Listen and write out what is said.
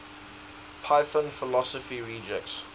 python philosophy rejects